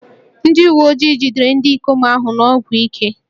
Ndị uwe ojii jidere ndị ikom ahụ na ọgwụ ike